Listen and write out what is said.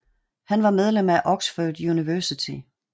Han var medlem af Oxford University